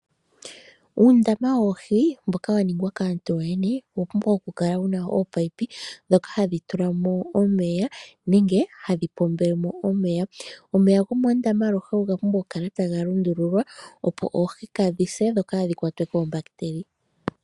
Uundama woohi mboka waningwa kaantu yoyene owapumbwa okukala wuna ominino dhoka hadhi tulamo omeya nenge hadhi pombelemo omeya. Omeya gomoondama aluhe ogapumbwa okukala taga lundululwa opo oohi kadhi se dhokaadhi kwatwe koombakiteli.